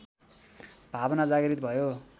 भावना जागृत भयो